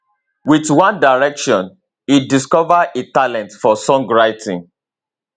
with one direction e discover a talent for songwriting